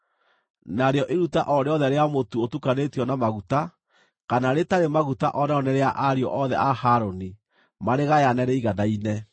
narĩo iruta o rĩothe rĩa mũtu ũtukanĩtio na maguta kana rĩtarĩ maguta o narĩo nĩ rĩa ariũ othe a Harũni, marĩgayane rĩiganaine.